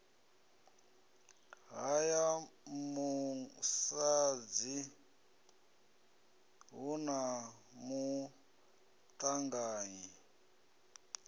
haya musadzi hu na maṱanganyi